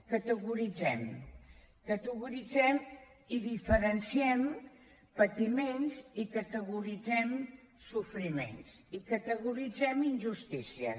categoritzem categoritzem i diferenciem patiments i categoritzem sofriments i categoritzem injustícies